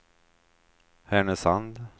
Härnösand